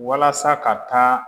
Walasa ka taa